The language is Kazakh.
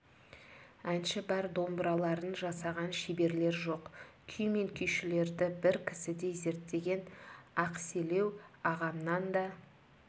әнші бар домбыраларын жасаған шеберлер жоқ күй мен күйшілерді бір кісідей зерттеген ақселеу ағамнан да